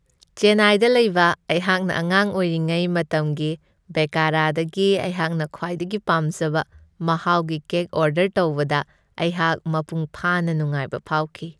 ꯆꯦꯟꯅꯥꯏꯗ ꯂꯩꯕ ꯑꯩꯍꯥꯛꯅ ꯑꯉꯥꯡ ꯑꯣꯏꯔꯤꯉꯩ ꯃꯇꯝꯒꯤ ꯕꯦꯀꯔꯗꯒꯤ ꯑꯩꯍꯥꯛꯅ ꯈ꯭ꯋꯥꯏꯗꯒꯤ ꯄꯥꯝꯖꯕ ꯃꯍꯥꯎꯒꯤ ꯀꯦꯛ ꯑꯣꯔꯗꯔ ꯇꯧꯕꯗ ꯑꯩꯍꯥꯛ ꯃꯄꯨꯡ ꯐꯥꯅ ꯅꯨꯡꯉꯥꯏꯕ ꯐꯥꯎꯈꯤ ꯫